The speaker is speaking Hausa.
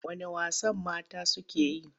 Wane wasan mata suke yi?